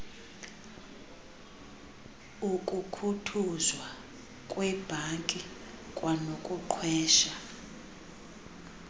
ukukhuthuzwa kweebhanki kwanokuqhwesha